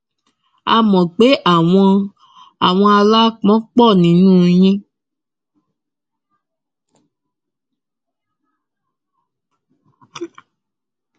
a mọ pé àwọn àwọn aláápọn pọ nínú yín